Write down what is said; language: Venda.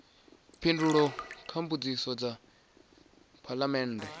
phindulo kha mbudziso dza phalamennde